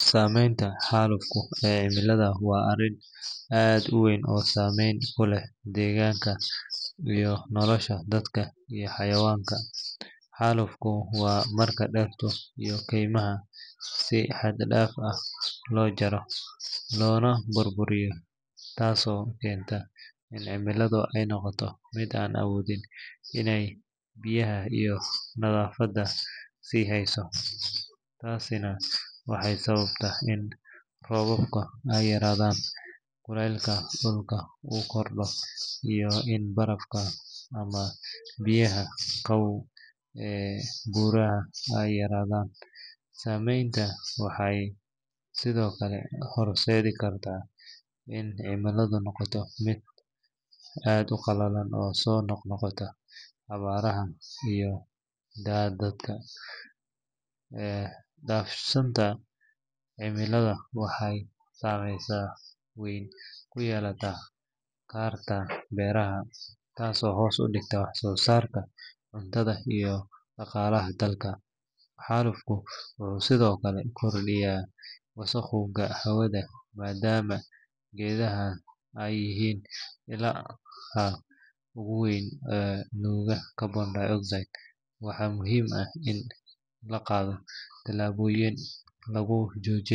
Saameynta xaalufka ee cimilada waa arrin aad u weyn oo saameyn ku leh deegaanka iyo nolosha dadka iyo xayawaanka. Xaalufku waa marka dhirta iyo keymaha si xad dhaaf ah loo jaro loona burburiyo taasoo keenta in ciidda ay noqoto mid aan awoodin inay biyaha iyo nafaqada sii hayso. Taasina waxay sababtaa in roobabka ay yaraadaan, kulaylka dhulka uu kordho, iyo in barafka ama biyaha qabow ee buuraha ay yaraadaan. Saameyntan waxay sidoo kale horseedi kartaa in cimiladu noqoto mid aad u qallalan oo soo noqnoqota abaaro iyo daadad. Qalafsanaanta cimilada waxay saameyn weyn ku yeelan kartaa beeraha, taasoo hoos u dhigta wax-soo-saarka cuntada iyo dhaqaalaha dadka. Xaalufka wuxuu sidoo kale kordhiyaa wasakhowga hawada maadaama geedaha ay yihiin ilaha ugu weyn ee nuuga carbon dioxide. Waxaa muhiim ah in la qaado tallaabooyin lagu joojinayo.